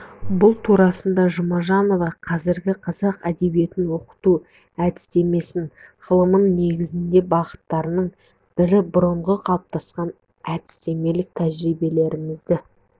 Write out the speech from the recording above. бұл турасында жұмажанова қазіргі қазақ әдебиетін оқыту әдістемесі ғылымының негізгі бағыттарының бірі бұрынғы қалыптасқан әдістемелік тәжірибелерімізді